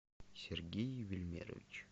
сергей евельмерович